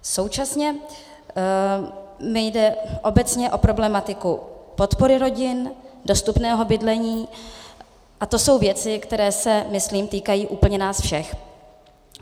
Současně mi jde obecně o problematiku podpory rodin, dostupného bydlení a to jsou věci, které se, myslím, týkají úplně nás všech.